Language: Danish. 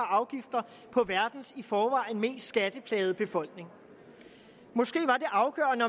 og verdens i forvejen mest skatteplagede befolkning måske er det afgørende